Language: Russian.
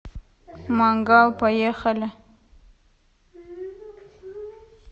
мангал поехали